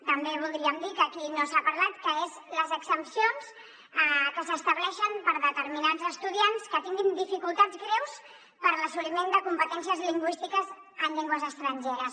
també voldríem dir que aquí no se n’ha parlat que són les exempcions que s’estableixen per a determinats estudiants que tinguin dificultats greus per a l’assoliment de competències lingüístiques en llengües estrangeres